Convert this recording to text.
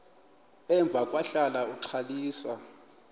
emva kwahlala uxalisa